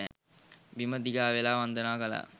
බිම දිගා වෙලා වන්දනා කළා